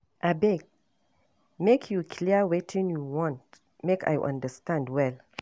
Abeg, make you clear wetin you want make I understand well.